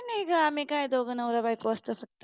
नाही आम्ही दोघे नवरा बायको असतो